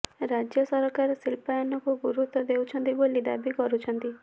ରାଜ୍ୟ ସରକାର ଶିଳ୍ପାୟନକୁ ଗୁରୁତ୍ୱ ଦେଉଛନ୍ତି ବୋଲି ଦାବି କରୁଛନ୍ତି